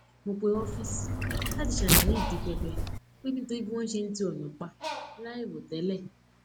mo pe ófíìsì láti ṣàlàyé ìdí pipe pé nítorí bí wón ṣe ti ònà pa láìròtélè